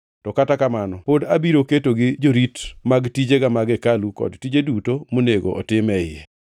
To kata kamano pod abiro ketogi jorit mag tijega mag hekalu kod tije duto monego otim e iye.